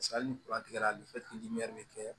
hali ni tigɛra bɛ kɛ